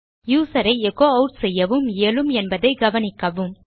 user ஐ எச்சோ add செய்யவும் இயலும் என்பதை கவனிக்கவும்